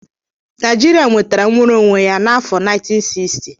Naijiria nwetara nnwere onwe ya n'afo 1960?